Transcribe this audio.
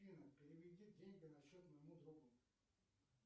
афина переведи деньги на счет моему другу